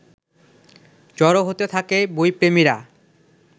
জড়ো হতে থাকে বইপ্রেমীরা